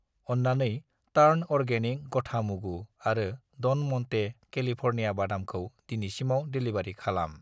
अन्नानै टार्न अर्गेनिक गथा मुगु आरो ड'न म'न्टे केलिफर्निया बादामखौ दिनैसिमाव डेलिबारि खालाम।